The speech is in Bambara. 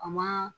A ma